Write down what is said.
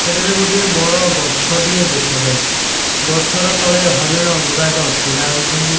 ଏଠାରେ ଗୁଟିଏ ବଡ ଗଛ ଟିଏ ଦେଖା ଯାଉଛି ଗଛର ତଳେ ହରିଣ ଗୁଡାକ ଛିଡ଼ା ହୋଇଛନ୍ତି।